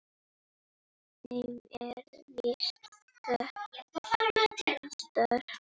þeim er víða ratar